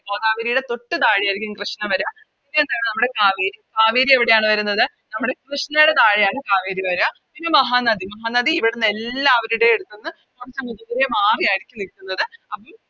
ഗോദാവരിയുടെ തൊട്ട് താഴെയാരിക്കും കൃഷ്ണ വര പിന്നെ എന്താണ് നമ്മുടെ കാവേരി കാവേരി എവിടെയാണ് വരുന്നത് നമ്മുടെ കൃഷ്ണേടെ താഴെയാണ് കാവേരി വര പിന്നെ മഹാനദി മഹാനദി ഇവിട്ന്ന് എല്ലാവരുടെയും എടുത്ത്ന്ന് കൊറച്ചങ് ദൂരെ മാറിയാരിക്കും ഇരിക്കുന്നത് അപ്പോം